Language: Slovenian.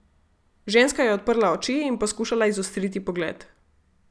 Ženska je odprla oči in poskušala izostriti pogled.